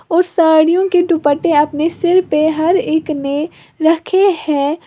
और साड़ियों के दुपट्टे अपने सिर पे हर एक ने रखे हैं।